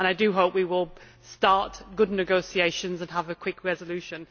I do hope we will start good negotiations and have a quick resolution.